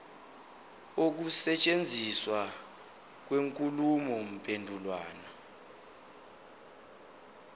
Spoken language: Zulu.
ukusetshenziswa kwenkulumo mpendulwano